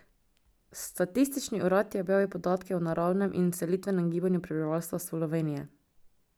Statistični urad je objavil podatke o naravnem in selitvenem gibanju prebivalstva Slovenije.